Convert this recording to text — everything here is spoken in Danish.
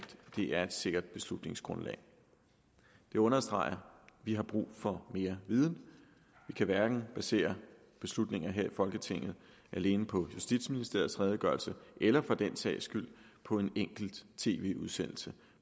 det er et sikkert beslutningsgrundlag det understreger at vi har brug for mere viden vi kan hverken basere beslutninger her i folketinget alene på justitsministeriets redegørelse eller for den sags skyld på en enkelt tv udsendelse